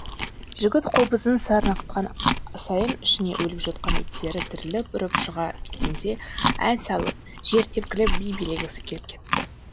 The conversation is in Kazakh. жігіт қобызын сарнатқан сайын ішіндегі өліп жатқан иттері тіріліп үріп шыға келгенде ән салып жер тепкілеп би билегісі келіп кетті